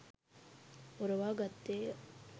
පොරවා ගත්තේ ය.